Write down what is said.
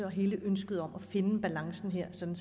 og hele ønsket om at finde balancen her sådan